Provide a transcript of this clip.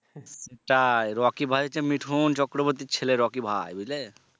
তাই রকি ভাই হচ্ছে মিঠুন চক্রবর্তীর ছেলে রকি ভাই বুঝলে?